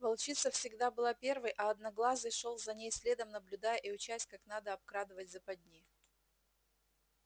волчица всегда была первой а одноглазый шёл за ней следом наблюдая и учась как надо обкрадывать западни